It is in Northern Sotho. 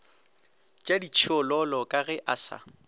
tšaditšhiololo ka ge a sa